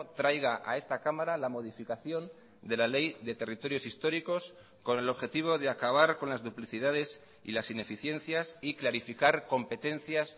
traiga a esta cámara la modificación de la ley de territorios históricos con el objetivo de acabar con las duplicidades y las ineficiencias y clarificar competencias